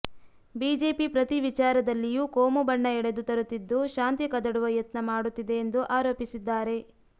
BJP ಪ್ರತಿ ವಿಚಾರದಲ್ಲಿಯೂ ಕೋಮು ಬಣ್ಣ ಎಳೆದು ತರುತ್ತಿದ್ದು ಶಾಂತಿ ಕದಡುವ ಯತ್ನ ಮಾಡುತ್ತಿದೆ ಎಂದು ಆರೋಪಿಸಿದ್ದಾರೆ